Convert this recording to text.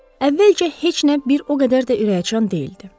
Əvvəlcə heç nə bir o qədər də ürəkacan deyildi.